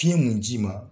Fiɲɛ mun ji ma